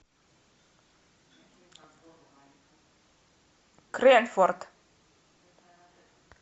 крэнфорд